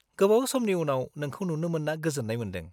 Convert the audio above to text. गोबाव समनि उनाव नोंखौ नुनो मोन्ना गोजोन्नाय मोन्दों।